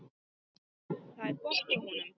Það var gott hjá honum.